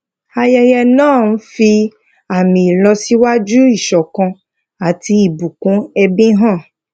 ayẹyẹ náà ń fi àmì ìlọsíwájú ìṣọkan àti ìbùkún ẹbí hàn